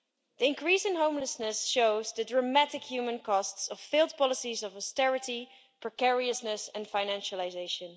The increase in homelessness shows the dramatic human costs of failed policies of austerity, precariousness and financialisation.